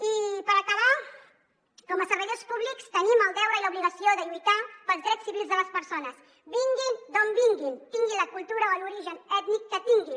i per acabar com a servidors públics tenim el deure i l’obligació de lluitar pels drets civils de les persones vinguin d’on vinguin tinguin la cultura o l’origen ètnic que tinguin